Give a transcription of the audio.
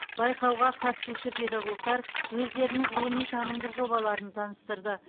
байқауға қатысушы педагогтар өздерінің ғылыми танымдық жобаларын таныстырды